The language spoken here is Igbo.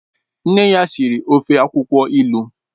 Nne ya siri ofe akwukwo ilu